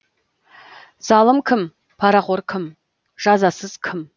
залым кім парақор кім жазасыз кім